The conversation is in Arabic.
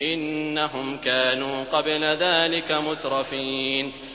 إِنَّهُمْ كَانُوا قَبْلَ ذَٰلِكَ مُتْرَفِينَ